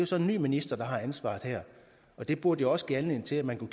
så en ny minister der har ansvaret her det burde også give anledning til at man kunne